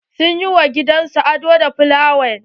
Sun yi wa gidan su ado da sunflower.